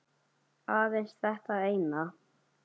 Aðeins þetta eina